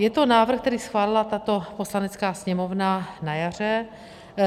Je to návrh, který schválila tato Poslanecká sněmovna na jaře.